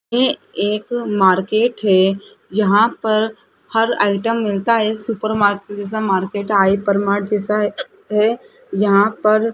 ये एक मार्केट है यहां पर हर आइटम मिलता है सुपर मार्केट जैसा मार्केट है हाइपरमार्ट जैसा है यहां पर --